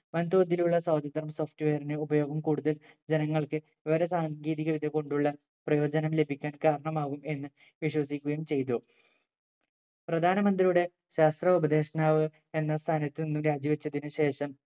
വൻ തോതിലുള്ള സ്വതന്ത്ര software നെ ഉപയോഗം കൂടുതൽ ജനങ്ങൾക്ക് വിവര സാങ്കേതിക വിദ്യ കൊണ്ടുള്ള പ്രയോജനം ലഭിക്കാൻ കാരണമാവും എന്ന് വിശ്വസിക്കുകയും ചെയ്തു പ്രധാനമന്ത്രിയുടെ ശാസ്ത്ര ഉപദേഷ്ട്ടാവ് എന്ന സ്ഥാനത് നിന്ന് രാജി വെച്ചതിനു ശേഷം